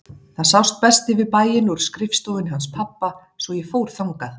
Það sást best yfir bæinn úr skrifstofunni hans pabba svo ég fór þangað.